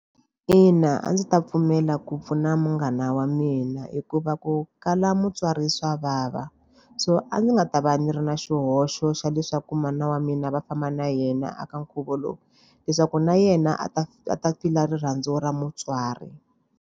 Ina a ndzi ta pfumela ku pfuna munghana wa mina hikuva ku kala mutswari swa vava. So a ndzi nga ta va ni ri na xihoxo xa leswaku mana wa mina va famba na yena eka nkhuvo lowu, leswaku na yena a ta a ta feel-a rirhandzu ra mutswari.